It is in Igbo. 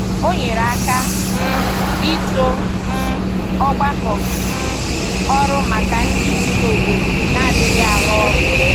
Ọ nyere aka um ịtọ um ọgbakọ um ọrụ maka ndị bi n’obodo na-adịghị arụ ọrụ.